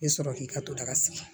I bɛ sɔrɔ k'i ka to daga sigi